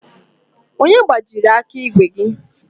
Onye gbajiri aka ígwè gi?